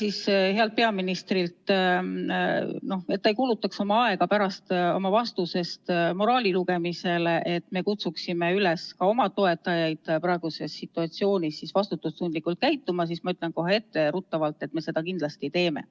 Et hea peaminister ei peaks kulutama aega pärast oma vastuses moraali lugemisele, et me kutsuksime üles oma toetajaid praeguses situatsioonis vastutustundlikult käituma, siis ma ütlen kohe etteruttavalt, et me seda kindlasti teeme.